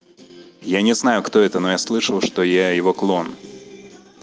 я не знаю кто это но я слышал что я его клон